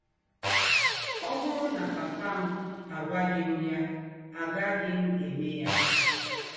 Ọ̀ bụrụ̀ nà pàpà m àgwàghị m yà, àgàghị m émè yà. ’